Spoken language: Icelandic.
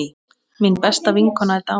Mín besta vinkona er dáin.